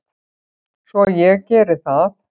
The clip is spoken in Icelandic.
Svo ég geri það.